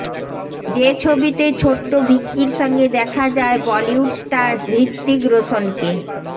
যে ছবিতে ছোট্ট ভিকির সঙ্গে দেখা যায় বলিউড স্টার হৃতিক রোশনকে